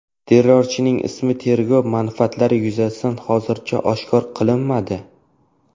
Terrorchining ismi tergov manfaatlari yuzasidan hozircha oshkor qilinmadi.